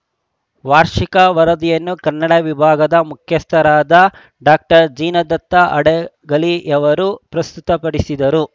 ವಾರ್ಷಿಕ ವರದಿಯನ್ನು ಕನ್ನಡ ವಿಭಾಗದ ಮುಖ್ಯಸ್ಥರಾದ ಡಾಕ್ಟರ್ ಜಿನದತ್ತ ಹಡಗಲಿಯವರು ಪ್ರಸ್ತುತ ಪಡಿಸಿದರು